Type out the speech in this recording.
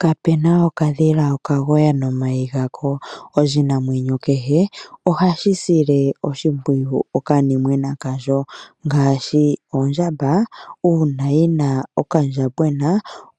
Kapena okadhila okalayi nomayi gako. Oshinamwenyo kehe ohashi sile oshimpwiyu okanimwena kasho, ngaashi ondjamba uuna yi na okandjambona